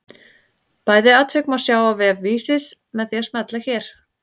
Bæði atvik má sjá á vef Vísis með því að smella hér.